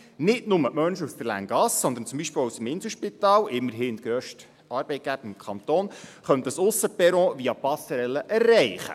Nicht nur die Menschen aus der Länggasse, sondern zum Beispiel auch aus dem Inselspital – immerhin der grösste Arbeitgeber im Kanton – könnten dieses Aussenperron via Passerelle erreichen.